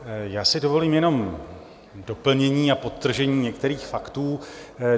Já si dovolím jenom doplnění a podtržení některých faktů.